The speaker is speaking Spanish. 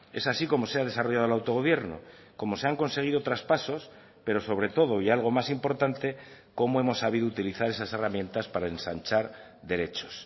es así como se ha desarrollado el autogobierno como se han conseguido traspasos pero sobre todo y algo más importante como hemos sabido utilizar esas herramientas para ensanchar derechos